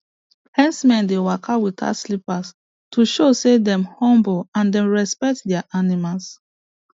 herdsmen dey waka without slippers to show say dem humble and dem respect their animals